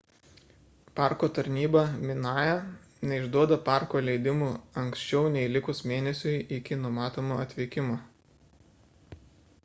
parko tarnyba minae neišduoda parko leidimų anksčiau nei likus mėnesiui iki numatomo atvykimo